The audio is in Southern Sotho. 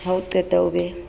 ha o qeta o be